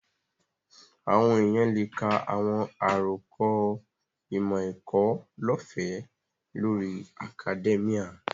Àwọn èèyàn lè ka àwọn àròkọ ìmọ̀-ẹ̀kọ́ lọ́ọ̀fẹ́ lórí akadẹ́míà